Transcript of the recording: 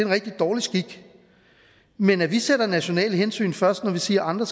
rigtig dårlig skik men at vi sætter nationale hensyn først når vi siger at andre